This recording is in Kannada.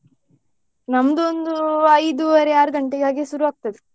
ನಮ್ದು ಒಂದು ಐದೂವರೆ ಆರು ಗಂಟೆ ಹಾಗೆ ಶುರು ಆಗ್ತದೆ.